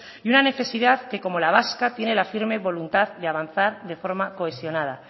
y una necesidad que como la vasca tiene la firme voluntad de avanzar de forma cohesionada